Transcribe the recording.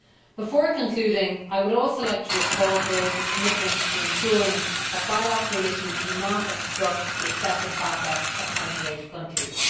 Before concluding, I would also like to recall Croatia's commitment to ensuring that bilateral issues do not obstruct the accession process of candidate countries.